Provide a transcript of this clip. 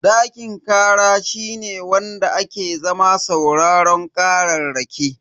Dakin kara shine wanda ake zama sauraron kararraki.